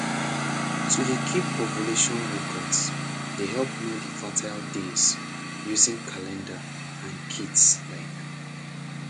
to dey keep ovulation records dey help know the fertile days using calendar and kits like